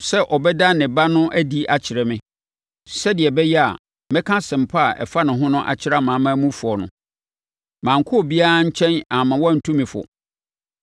sɛ ɔbɛda ne Ba no adi akyerɛ me, sɛdeɛ ɛbɛyɛ a mɛka Asɛmpa a ɛfa ne ho akyerɛ amanamanmufoɔ no, mankɔ obiara nkyɛn amma wantu me fo;